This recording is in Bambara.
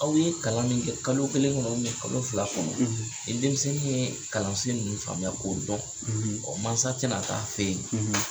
Aw ye kalan min kɛ kalo kelen kɔnɔ kalo fila kɔnɔ, ni denmisɛnnin yee kalansen ninnu faamuya k'o dɔn, mansa te na taa f'e ye